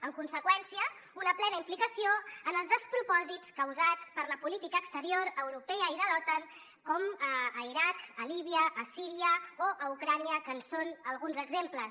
en conseqüència una plena implicació en els despropòsits causats per la política exterior europea i de l’otan com a l’iraq a líbia a síria o a ucraïna que en són alguns exemples